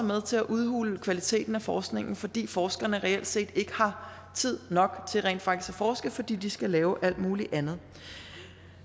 med til at udhule kvaliteten af forskningen fordi forskerne reelt set ikke har tid nok til rent faktisk at forske fordi de skal lave alt muligt andet